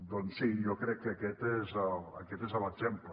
doncs sí jo crec que aquest és l’exemple